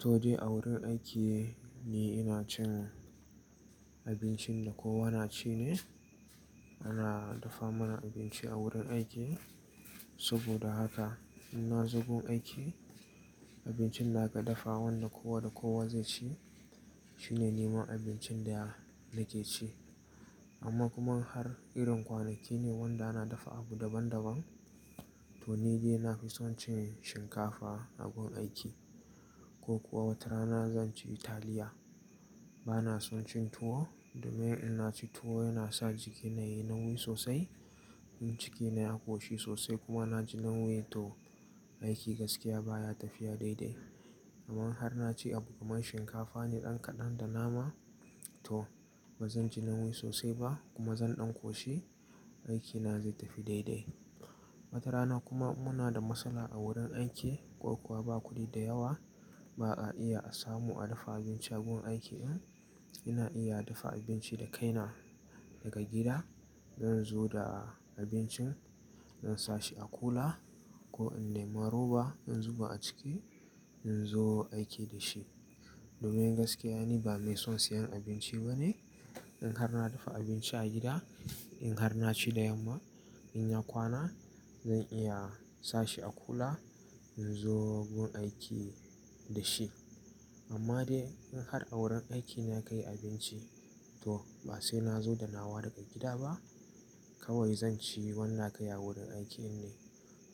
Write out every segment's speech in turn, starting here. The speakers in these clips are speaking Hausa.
To dai a wurin aiki ne ina cin abincin da kowa na ci ne. Ana dafa mana abinci a wurin aiki saboda haka in na zo gun aiki abincin da aka dafa wanda kowa da kowa zai ci shine ni abincin da nake ci. Amma kuma har irin kwanaki ne wanda ana dafa abu daban daban to ni dai na fi son cin shinkafa a gun aiki ko kuwa wata rana zan ci taliya. Bana son cin tuwo domin in na ci tuwo yana sa jiki nayi nauyi sosai. In ciki na akoshi sosai kuma na ji nauyi to aiki gaskiya baya tafiya daidai. Amma har na ci abu kamar shinkafa ne ɗan kaɗan da nama to bazan ji nauyi sosai ba kuma zan ɗan koshi aikina zai tafi daidai. Wata rana kuma muna da matsala a wurin aiki ko kuwa ba kudi da yawa ba a iya samu a dafa abinci a gun aiki in ina iya dafa abinci da kai na daga gida zan zo da abincin zan sashi a kula ko in nemi roba in zuba a ciki in zo aiki da shi. Domin gaskiya ne ba mai son siyan abinci ba ne in har na dafa abinci a gida in har na ci da yamma in ya kwana zan iya sashi a kula in zo gun aiki da shi. Amma dai in har a wurin aiki na ka yi abinci to ba sai na zo da nawa daga gida ba kawai zan ci wanda aka yi a wurin aiki ne.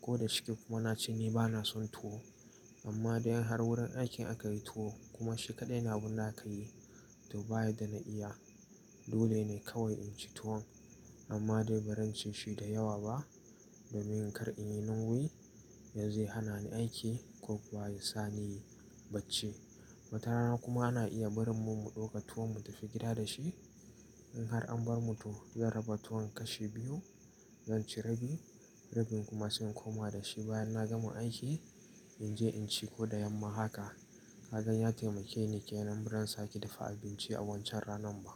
Ko da shike kuma na ci ne bana son tuwo amma dai in har wurin aiki aka yi tuwo kuma shi kaɗai ne abun da aka yi to baya da na iya dole ne kawai in ci tuwon. Amma dai ba zan ci shi da yawa ba domin kar in yi nauyi ya zo yahana ni aiki ko kuwa ya sa ni bacci. Wata rana kuma ana iya barin mun mu ɗauka tuwon mu tafi gida da shi in har an bar mu to zan raba tuwon kashi biyu zan ci rabi rabin kuma zan koma da shi bayan na gama aiki in je in ci ko da yamma haka. Kagan yana taimake ni ke nan baran sake dafa abinci a wancan ranan ba.